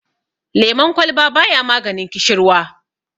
lemon kwalba ba ya maganin kishirwa